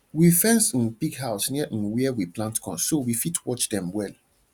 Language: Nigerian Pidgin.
we fence um pig house near um where we plant corn so we fit watch dem well